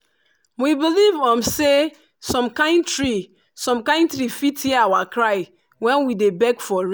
we believe um say some kind tree some kind tree fit hear our cry when we dey beg for rain.